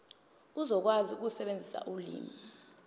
uzokwazi ukusebenzisa ulimi